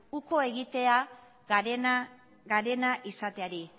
ukoa egitea garena izateari